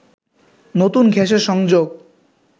নতুন গ্যাসের সংযোগ